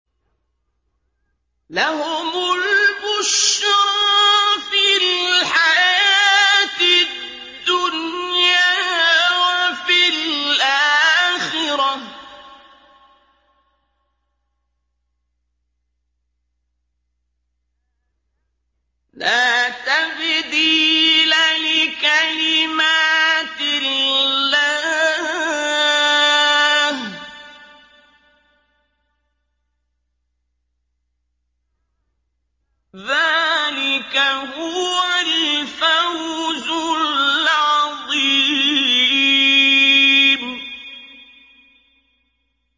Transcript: لَهُمُ الْبُشْرَىٰ فِي الْحَيَاةِ الدُّنْيَا وَفِي الْآخِرَةِ ۚ لَا تَبْدِيلَ لِكَلِمَاتِ اللَّهِ ۚ ذَٰلِكَ هُوَ الْفَوْزُ الْعَظِيمُ